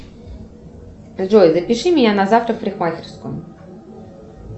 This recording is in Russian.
джой запиши меня на завтра в парикмахерскую